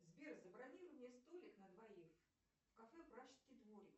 сбер забронируй мне столик на двоих в кафе пражский дворик